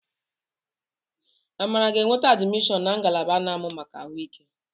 Amara ga-enweta admishọn na ngalaba a na-amụ maka ahu ike